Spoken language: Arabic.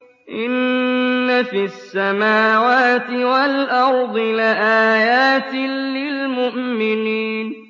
إِنَّ فِي السَّمَاوَاتِ وَالْأَرْضِ لَآيَاتٍ لِّلْمُؤْمِنِينَ